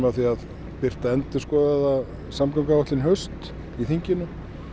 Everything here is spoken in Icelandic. því að birta endurskoðaða samgönguáætlun í haust í þinginu